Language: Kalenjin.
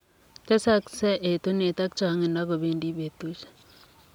Tesaksei etuneet ak chongindoo kobendii petusiek.